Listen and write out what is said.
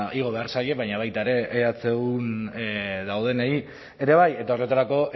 igo behar zaie baina baita ere ehun daudenei ere bai eta horretarako